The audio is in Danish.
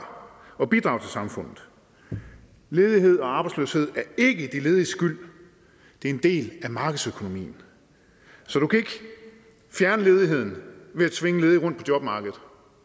og bidrage til samfundet ledighed og arbejdsløshed er ikke de lediges skyld det er en del af markedsøkonomien så du kan ikke fjerne ledigheden ved at tvinge ledige rundt på jobmarkedet